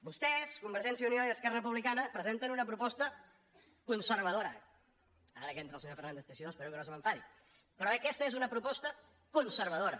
vostès convergència i unió i esquerra republicana presenten una proposta conservadora ara que entra el senyor fernández teixidó espero que no se m’enfadi però aquesta és una proposta conservadora